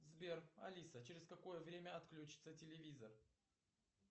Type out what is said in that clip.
сбер алиса через какое время отключится телевизор